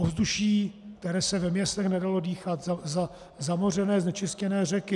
Ovzduší, které se ve městech nedalo dýchat, zamořené, znečištěné řeky.